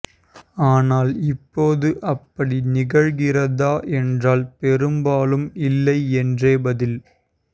ஆனால் இப்போது அப்படி நிகழ்கிறதா என்றால் பெரும்பாலும் இல்லை என்றே பதில்